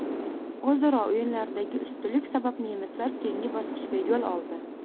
O‘zaro o‘yinlardagi ustunlik sabab nemislar keyingi bosqichga yo‘l oldi.